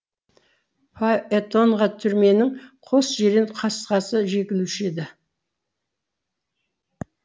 фаэтонға түрменің қос жирен қасқасы жегілуші еді